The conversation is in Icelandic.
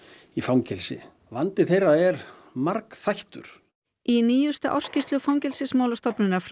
í fangelsi vandi þeirra er margþættur í nýjustu ársskýrslu Fangelsismálastofnunar frá